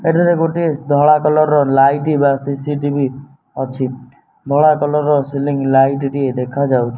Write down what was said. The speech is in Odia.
ଏଠାରେ ଗୋଟିଏ ଧଳା କଲର୍ ର ଲାଇଟି ବା ସି_ସି_ଟି_ଭି ଅଛି ଧଳା କଲର୍ ର ସିଲିଂ ଲାଇଟି ଟିଏ ଦେଖାଯାଉ --